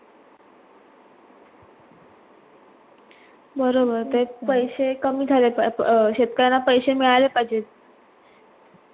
बरोबर ते पैशा कमी झाल्यास शेतकऱ्यांना पैसे मिळाले पाहिजेत.